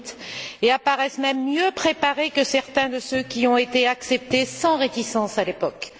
2008. Et apparaissent même mieux préparés que certains de ceux qui ont été acceptés sans réticences à l'époque.